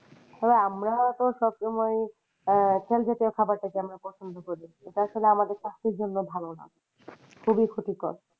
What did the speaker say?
হ্যাঁ আমরা তো সবসময় আহ তেল জাতীয় খাওয়ার টা কে আমরা পছন্দ করি যেটা আসলে আমাদের স্বাস্থের জন্য ভালো না খুবই ক্ষতিকর।